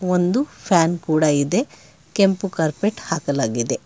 ಒಂದು ಫ್ಯಾನ್ ಕೂಡ ಇದೆ ಕೆಂಪು ಕಾರ್ಪೆಟ್ ಹಾಕಲಾಗಿದೆ.